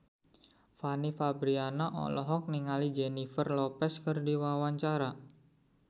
Fanny Fabriana olohok ningali Jennifer Lopez keur diwawancara